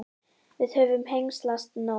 Við höfum hengslast nóg.